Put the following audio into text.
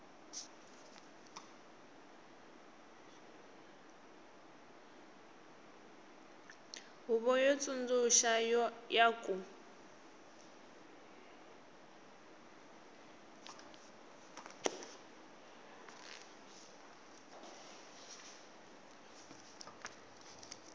huvo yo tsundzuxa ya ku